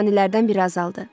Canilərdən biri azaldı.